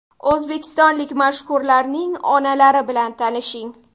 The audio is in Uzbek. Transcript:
O‘zbekistonlik mashhurlarning onalari bilan tanishing .